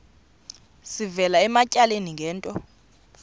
sivela ematyaleni ngento